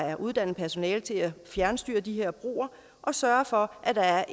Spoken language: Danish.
er uddannet personale til at fjernstyre de her broer og sørge for at der er